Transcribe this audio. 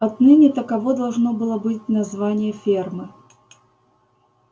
отныне таково должно было быть название фермы